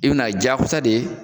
I bɛ n'a diyakosa de ye